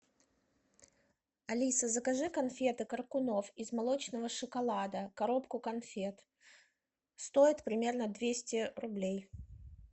алиса закажи конфеты коркунов из молочного шоколада коробку конфет стоит примерно двести рублей